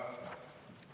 Sain küsimusest aru.